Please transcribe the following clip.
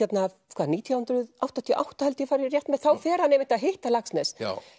hvað nítján hundruð áttatíu og átta held ég fari rétt með þá fer hann einmitt að hitta Laxness